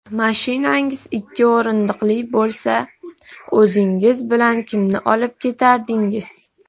Mashinangiz ikki o‘rindiqli bo‘lsa, o‘zingiz bilan kimni olib ketardingiz?.